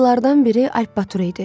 Atlılardan biri Alp Batır idi.